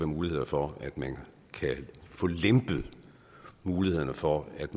mulighed for at man kan få lempet mulighederne for at